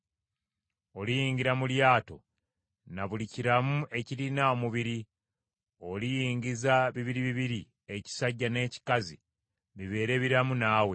Oliyingira mu lyato na buli kiramu ekirina omubiri; oliyingiza bibiri bibiri ekisajja n’ekikazi bibeere biramu naawe.